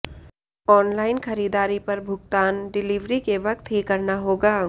online खरीदारी पर भुगतान डिलीवरी के वक्त ही करना होगा